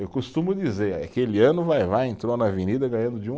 Eu costumo dizer, aquele ano o Vai-Vai entrou na Avenida ganhando de um